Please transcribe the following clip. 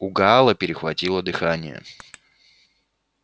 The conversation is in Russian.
у гаала перехватило дыхание